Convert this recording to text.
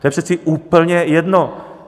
To je přece úplně jedno!